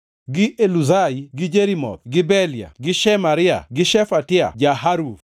gi Eluzai gi Jerimoth gi Bealia gi Shemaria gi Shefatia ja-Haruf;